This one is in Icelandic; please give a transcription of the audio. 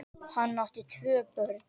Hann átti tvö börn.